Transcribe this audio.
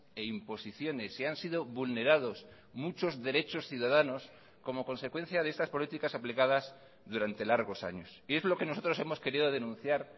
e imposiciones y han sido vulnerados muchos derechos ciudadanos como consecuencia de estas políticas aplicadas durante largos años y es lo que nosotros hemos querido denunciar